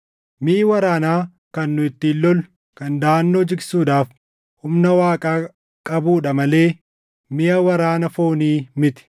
Miʼi waraanaa kan nu ittiin lollu kan daʼannoo jigsuudhaaf humna Waaqaa qabuudha malee miʼa waraana foonii miti.